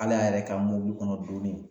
Al'a yɛrɛ ka mɔbili kɔnɔ donnin